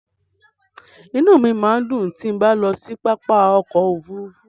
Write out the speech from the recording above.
Inú mi máa ń dùn tí bá ń lọ sí pápá ọkọ̀ Òfurufú.